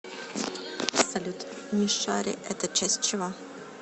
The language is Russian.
салют мишари это часть чего